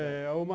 É uma...